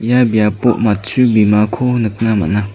ia biapo matchu bimako nikna man·a.